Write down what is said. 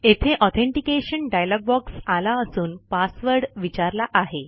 येथे authentication dialog box आला असून पासवर्ड विचारला आहे